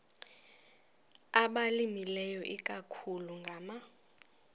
abalimileyo ikakhulu ngama